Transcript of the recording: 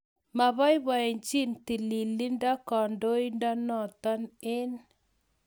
Mapoipochi tililindo kandoindo notok eng